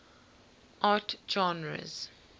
art genres